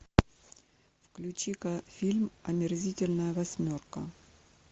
включи ка фильм омерзительная восьмерка